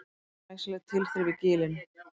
Glæsileg tilþrif í Gilinu